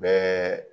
Bɛɛ